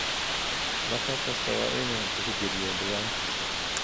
Baakad kastaa waa inuu tixgeliyo deegaankiisa.